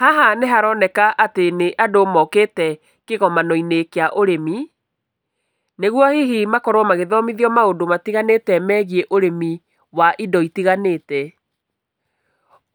Haha nĩ haroneka atĩ nĩ andũ mokĩte kĩgomano-inĩ kĩa ũrĩmi, nĩgũo hihi makorũo magĩthomithio maũndũ matiganĩte megiĩ ĩrĩmi wa indo itiganĩte.